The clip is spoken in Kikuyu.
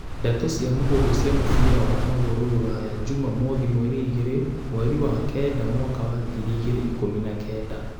Ndeto cia mũhuhu cia mũbira wa magũrũ Rũraya juma mothi mweri igĩrĩ mweri wa kenda mwaka wa ngiri igĩrĩ ikumi na Kenda